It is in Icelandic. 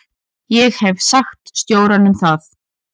Ég hef sagt stjóranum það.